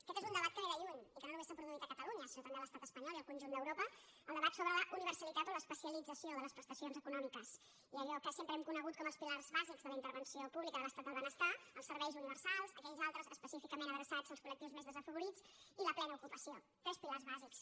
aquest és un debat que ve de lluny i que no només s’ha produït a catalunya sinó també a l’estat espanyol i al conjunt d’europa el debat sobre la uni·versalitat o l’especialització de les prestacions econò·miques i allò que sempre hem conegut com els pilars bàsics de la intervenció pública de l’estat del benestar els serveis universals aquells altres específicament adreçats als col·lectius més desafavorits i la plena ocu·pació tres pilars bàsics